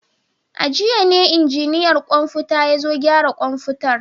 A jiya ne injiniyan kwamfuta ya zo gyara kwamfutar.